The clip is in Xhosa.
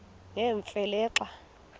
nemfe le xa